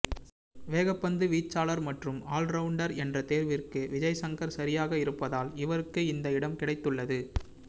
வேகப்பந்துவீச்சாளர் மற்றும் ஆல்ரவுண்டர் என்ற தேர்விற்கு விஜய் சங்கர் சரியாக இருப்பதால் இவருக்கு இந்த இடம் கிடைத்துள்ளது